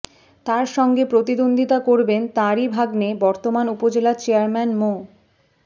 তাঁর সঙ্গে প্রতিদ্বন্দ্বিতা করবেন তাঁরই ভাগ্নে বর্তমান উপজেলা চেয়ারম্যান মো